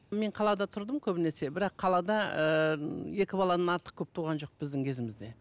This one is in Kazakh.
мен қалада тұрдым көбінесе бірақ қалада ыыы екі баладан артық көп туған жоқ біздің кезімізде